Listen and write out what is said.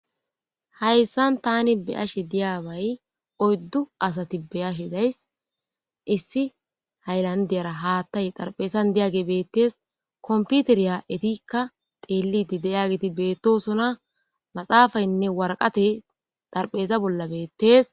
Hayssan tani beyashe diyabay oyddu asati beyashe days issi haylandiyara haattay xarpeesan diyage beettees komputeriya etikka teelidi deyageti beettosona maxaafaynne waraqate darpheeza bolla beettees.